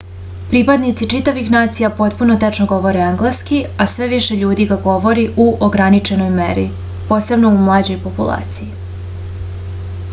pripadnici čitavih nacija potpuno tečno govore engleski a sve više ljudi ga govori u ograničenoj meri posebno u mlađoj populaciji